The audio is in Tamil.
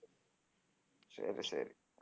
சரி சரி